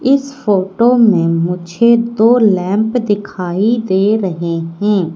इस फोटो में मुझे दो लैंप दिखाई दे रहे हैं।